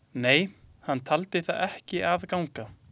Nei, hann taldi það ekki að ganga.